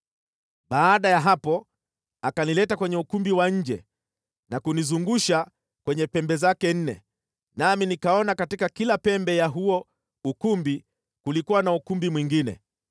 Baada ya hapo akanileta kwenye ukumbi wa nje na kunizungusha kwenye pembe zake nne, nami nikaona katika kila pembe ya huo ukumbi kulikuwa na ukumbi mwingine.